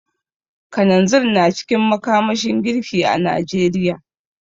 Kananzir na cikin makamashin girki a Najeriya.